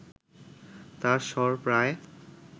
তাঁর স্বর প্রায়